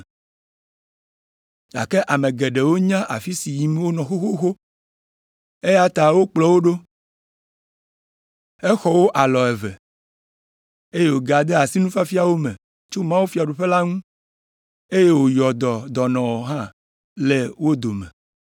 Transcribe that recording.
Gake ame geɖewo nya afi si yim wonɔ xoxoxo, eya ta wokplɔ wo ɖo. Exɔ wo alɔ eve, eye wògade asi nufiafia wo me tso mawufiaɖuƒe la ŋu, eye wòyɔ dɔ dɔnɔwo hã le wo dome.